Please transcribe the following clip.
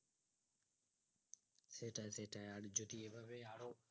সেটাই সেটাই আর যদি এইভাবে আরো